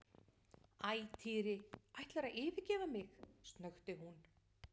Æ, Týri ætlarðu að yfirgefa mig? snökti hún.